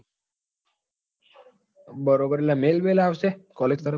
બરોબર એટલે mail bill આવશે collage તરફ થી?